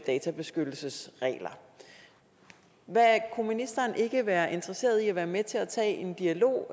databeskyttelsesregler kunne ministeren ikke være interesseret i at være med til at tage en dialog